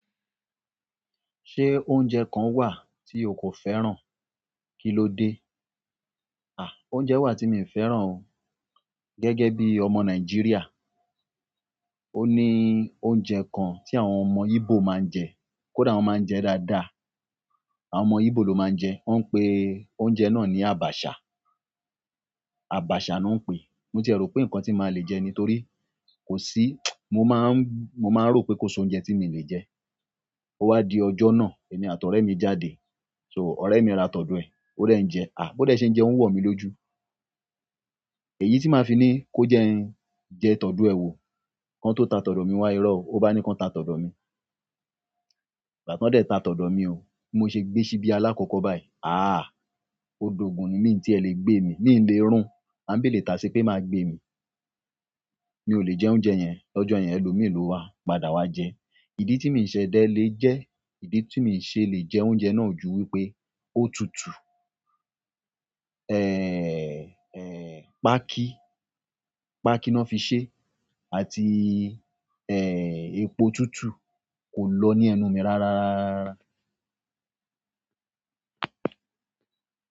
Ṣé oúnjẹ kán wà tí o kò fẹ́ràn? Kí ló dé? À, oúnjẹ wà tí mi ò fẹ́ràn o. Gẹ́gẹ́ bí ọmọ Nàìjíríà. Ó ní oúnjẹ kan tí àwọn ọmọ Ígbò máa ń jẹ, kó dá wọn máa ń jẹ dáadáa. Àwọn ọmọ Ígbò ló máa ń jẹ, wọ́n ń pe oúnjẹ náà ní "abacha". Abacha ni wọ́n ń pè é. Mo ti rò pé nǹkan tí màá le jẹ nítorí kò sí mo máa ń, mo máa ń rò pé kó ṣe oúnjẹ tí mo lè jẹ. Ó wá di ọjọ́ náà, èmi àti ọ̀rẹ́ mi jáde. So, ọ̀rẹ́ mi ra tọ̀dọ́ ẹ, ó dá ẹ jẹ. À, bódé ṣe ń jẹ, ó ń wọ̀ mí lójú. Èyí tí màá fi ní kó jẹ ẹyin jẹ tọ̀dọ́ ẹ wo. Ǹkan tó ta tọ̀dọ́ mi wá irọ́, ó bá ni kán ta tọ̀dọ́ mi. Ìgbà to de tà todo mi o bi mose gbe sibi alakoko bayi a o do gun mi o tele gbemi. Mi ò lè rún, à ń béèrè tàá ṣé pé màá gbé mi. Mi ò lè jẹ oúnjẹ yẹn. L'ọ́jọ́ yẹn, ẹlòmíràn ló wá, padà wá jẹ. Ìdí tí mi ṣe dé lè jẹ, ìdí tí mi ṣe lè jẹ oúnjẹ náà ju wípé ó tùtù. Ẹ̀, ẹ̀, pákí, pákí náà fi ṣẹ́, àti ẹ̀, epo tùtù kò lọ ní ẹnu mi rárá, rárárárárá.